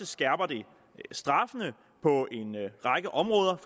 skærper det straffene på en række områder